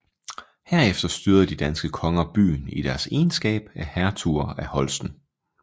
Herefter styrede de danske konger byen i deres egenskab af hertuger af Holsten